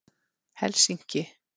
Helsinki